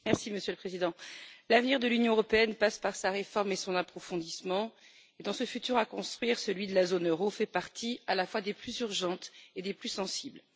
Monsieur le Président, l'avenir de l'Union européenne passe par sa réforme et son approfondissement et, dans ce futur à construire, celui de la zone euro fait partie des questions à la fois les plus urgentes et les plus sensibles.